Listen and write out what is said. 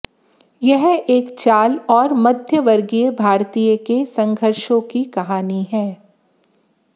यह एक चाल और मध्यवर्गीय भारतीय के संघर्षों की कहानी है